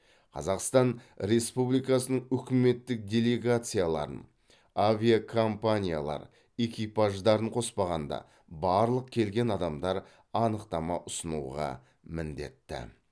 қазақстан республикасының үкіметтік делегацияларын авиакомпаниялар экипаждарын қоспағанда барлық келген адамдар анықтама ұсынуға міндетті